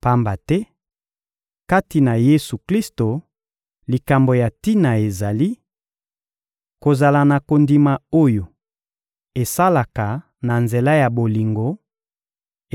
Pamba te, kati na Yesu-Klisto, likambo ya tina ezali: kozala na kondima oyo esalaka na nzela ya bolingo;